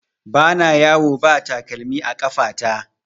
Ba na yawo ba takalmi a ƙafa ta